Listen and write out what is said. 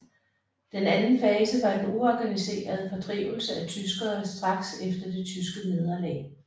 Den anden fase var den uorganiserede fordrivelse af tyskere straks efter det tyske nederlag